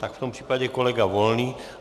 Tak v tom případě kolega Volný.